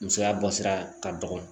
Musoya bɔ sira ka dɔgɔ